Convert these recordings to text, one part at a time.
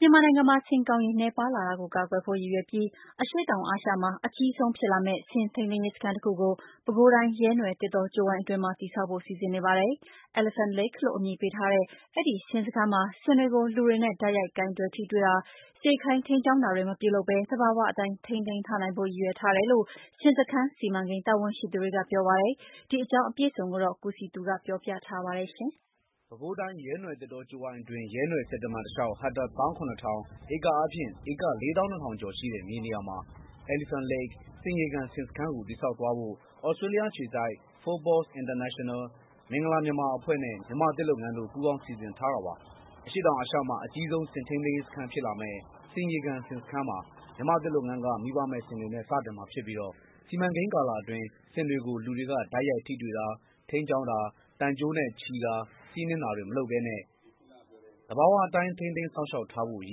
မြန်မာနိုင်ငံမှာ ဆင်ကောင်ရေနည်းပါးလာတာကိုကာကွယ်ဖို့ ရည်ရွယ်ပြီး အရှေ့တောင်အာရှမှာ အကြီးဆုံးဖြစ်လာမယ့် ဆင်ထိန်းသိမ်းရေးစခန်းတစ်ခုကို ပဲခူးတိုင်း ရဲနွယ်သစ်တောကြိုးဝိုင်းအတွင်းမှာ တည်ဆောက်ဖို့ စီစဉ်နေပါတယ်။ Elephant Lake လို့အမည်ပေးထားတဲ့ အဲဒီဆင်စခန်းမှာ ဆင်တွေကို လူတွေနဲ့ တိုက်ရိုက်ကိုင်တွယ် ထိတွေ့တာ၊ စေခိုင်းထိန်းကြောင်းတာတွေမပြုလုပ်ပဲ သဘာဝအတိုင်း ထိန်းသိမ်း ထားနိုင်ဖို့ ရည်ရွယ်ထားတယ်လို့ ဆင်စခန်းစီမံကိန်း တာဝန်ရှိသူတွေကပြောပါတယ်။ ဒီအကြောင်းအပြည့်အစုံကို ကိုစည်သူပြောပြပေးမှာပါ။ ပဲခူးတိုင်း ရဲနွယ်သစ်တောကြိုးဝိုင်းအတွင်း ရဲနွယ်ဆည်တမံတစ်လျှောက် ဟက်တာ ၁၇၀၀၀ ( ဧကအားဖြင့် ဧက ၄၂၀၀၀) ကျော်ရှိတဲ့ မြေနေရာမှာ (Elephant Lake) ဆင်ရေကန် ဆင်စခန်းကို တည်ဆောက်သွားဖို့ သြစတြီးယားအခြေစိုက် FOUR PAWS International ၊ မင်္ဂလာမြန်မာအဖွဲ့နဲ့ မြန်မာ့သစ်လုပ်ငန်းတို့ ပူးပေါင်းတည်ဆောက်မှာဖြစ်ပါတယ်။ အရှေ့တောင်အာရှမှာ အကြီးဆုံးဆင်ထိန်းသိမ်းရေးစခန်းဖြစ်လာမယ့် ဆင်ရေကန်ဆင်စခန်းမှာ မြန်မာ့သစ်လုပ်ငန်းက မိဘမဲ့ဆင်တွေနဲ့ စတင်မှာဖြစ်ပြီးတော့ စီမံကိန်းကာလအတွင်း ဆင်တွေကို လူတွေက တိုက်ရိုက်ထိတွေ့တာ ထိန်းကျောင်းတာ သံကြိုးနဲ့ချည်တာ စီးနင်းတာတွေ မလုပ်ပဲ သဘာဝအတိုင်းထိန်းသိမ်းစောင့်ရှောက်ထားဖို့ ရ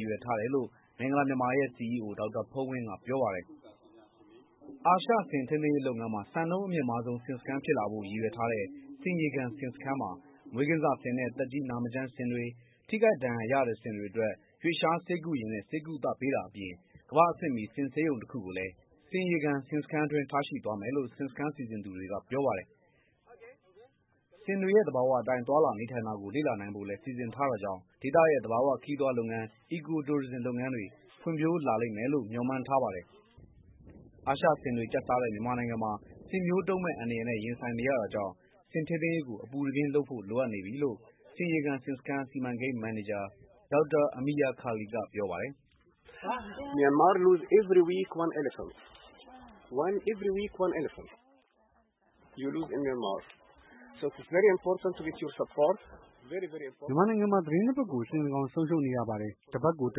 ည်ရွယ်ထားတယ်လို့ မင်္ဂလာမြန်မာရဲ့ စီအီးအို ဒေါက်တာဖုန်းဝင်းကပြောပါတယ်။ အာရှဆင်ထိန်းသိမ်းရေး လုပ်ငန်း တွင် စံနှုန်း အမြင့်မားဆုံး ဆင်စခန်းအဖြစ် ရည်ရွယ်ထားတဲ့ ဆင်ရေကန်ဆင်စခန်းမှာ မွေးကင်းစဆင်နဲ့သက်ကြီးနာမကျန်းဆင်တွေ ထိခိုက်ဒဏ်ရာရတဲ့ဆင်တွေအတွက် ရွေ့လျားဆေးကုယာဉ်နဲ့ ကုသတာအပြင် ကမ္ဘာ့အဆင့်မီ ဆင်ဆေးရုံတစ်ခုကိုလည်း ဆင်ရေကန် ဆင်စခန်းအတွင်းထားရှိသွားမယ်လို့ FOUR PAWS ရဲ့ တာဝန်ရှိသူကပြောပါတယ်။ ဆင်တွေရဲ့ သဘာဝအတိုင်း သွားလာနေထိုင်တာကို လေ့လာနိုင်ဖို့လည်း စီစဉ်ထားတာကြောင့် ဒေသရဲ့ သဘာဝခရီးသွားလုပ်ငန်း (eco-tourism) လုပ်ငန်းတွေ ဖွံ့ဖြိုးလာမယ်လို့ မျှော်မှန်းထားတာပါ။ အာရှဆင်တွေကျက်စားတဲ့ မြန်မာနိုင်ငံမှာ ဆင်မျိုးတုံးမယ့်အန္တရာယ်နဲ့ ရင်ဆိုင်နေရတာကြောင့် ဆင်ထိန်းသိမ်းရေးကိုအပူတပြင်းလုပ်ဖို့လိုနေပြီလို့ ဆင်ရေကန်ဆင်စခန်းစီမံကိန်းမန်နေဂျာ Dr.Amir Khalil ကပြောပါတယ်။ "မြန်မာနိုင်ငံမှာ သတင်းတစ်ပတ်ကို ဆင်တစ်ကောင်ဆုံရှုံးနေရပါတယ်။ တစ်ပတ်ကို တ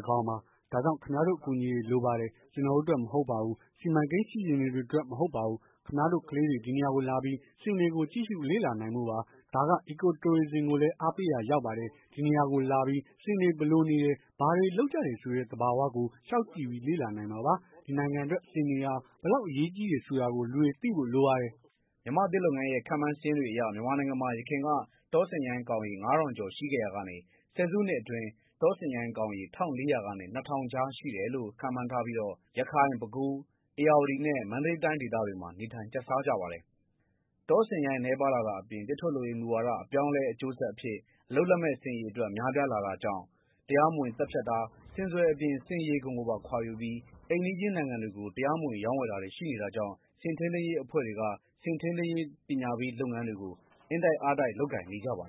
စ်ကောင်ပါ။ ဒါကြောင့်ခင်ဗျားတို့အကူအညီတွေလိုပါတယ်။ ကျွန်တော်တို့အတွက်မဟုတ်ပါဘူး။ စီမံကိန်းစီစဉ်သူတွေအတွက်မဟုတ်ပါဘူး။ ခင်ဗျားတို့ကလေးတွေ ဒီနေရာကိုလာပြီး ဆင်တွေကို ကြည့်ရှုလေ့လာနိုင်ဖို့ပါ။ ဒါက Eco-Tourism ကိုလည်းအားပေးရာရောက်ပါတယ်။ ဒီနေရာကိုလာပြီး ဆင်တွေ ဘယ်လိုနေတယ် ဘာတွေလုပ်ကြတယ်ဆိုတဲ့ သဘာဝကို လျှောက်ကြည့်ပြီးလေ့လာနိုင်မှာပါ။ ဒီနိုင်ငံအတွက်ဆင်တွေဟာ ဘယ်လောက်အရေးကြီးတယ်ဆိုတာကို လူတွေသိဖို့လိုပါတယ်။ " မြန်မာ့သစ်လုပ်ငန်းရဲ့ခန့်မှန်းစာရင်းတွေအရ မြန်မာနိုင်ငံမှာ ယခင်က တောဆင်ရိုင်းကောင်ရေ ၅၀၀၀ ကျော်ရှိခဲ့ရာကနေ ဆယ်စုနှစ်အတွင်း တောဆင်ရိုင်းကောင်ရေ ၁၄၀၀ ကနေ ၂၀၀၀ ကြားရှိတယ်လို့ ခန့်မှန်းထားပြီးတော့ ရခိုင်၊ ပဲခူး၊ ဧရာဝတီနဲ့ မန္တလေးတိုင်းဒေသတွေမှာ နေထိုင်ကျက်စားကြပါတယ်။ တောဆင်ရိုင်းနည်းပါးလာတာအပြင် သစ်ထုတ်လုပ်ရေးမူဝါဒအပြောင်းအလဲကြောင့် အလုပ်လက်မဲ့ ဆင်အရေအတွက်များပြားလာတာကြောင့် တရားမဝင်သတ်ဖြတ်တာ ဆင်စွယ်အပြင် ဆင်အရေခွံကိုပါ ခွာယူပြီး အိမ်နီးချင်းနိုင်ငံတွေကို တရားမဝင် ရောင်းဝယ်တာတွေကိုရှိနေတာကြောင့် ဆင်ထိန်းသိမ်းရေးအဖွဲ့တွေက ဆင်ထိန်းသိမ်းရေးပညာပေးလုပ်ငန်းတွေကို အင်တိုက်အားတိုက်လုပ်ကိုင်နေကြပါတယ်